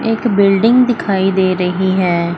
एक बिल्डिंग दिखाई दे रही है।